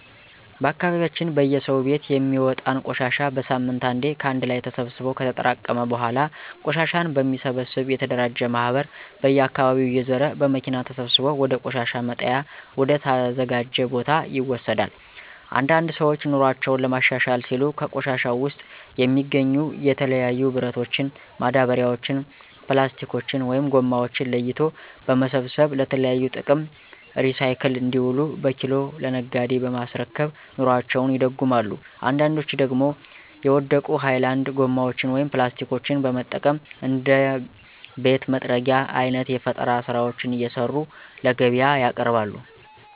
በአካባቢያችን በየሰው ቤት የሚወጣን ቆሻሻ በሳምንት አንዴ ከአንድ ላይ ተሰብስቦ ከተጠራቀመ በኃላ ቆሻሻን በሚሰበሰብ የተደራጀ ማህበር በየአካባቢው እየዞረ በመኪና ተሰብስቦ ወደ ቆሻሻ መጣያ ወደ ተዘጀው ቦታ ይወሰዳል። አንዳንድ ሰዎች ኑሮአቸውን ለማሻሻል ሲሉ ከቆሻሻው ውስጥ የሚገኙ የተለያዩ ብረቶችን፣ ማዳበሪያዎችን፣ ፕላስቲኮችን(ጎማዎችን) ለይቶ በመሰብሰብ ለተለያዩ ጥቅም ሪሳይክል እንዲውሉ በኪሎ ለነጋዴ በማስረከብ ኑሮአቸውን ይደጉማሉ አንዳንዶች ደግሞ የወደቁ ሀይላንድ ጎማዎችን (ፕላስቲኮችን) በመጠቀም እንደ ቤት መጥረጊያ አይነት የፈጠራ ስራዎችን እየሰሩ ለገቢያ ያቀርባሉ።